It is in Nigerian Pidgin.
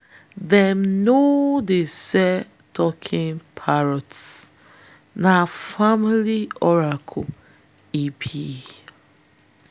them no dey sell taking parrot - na family oracle e be.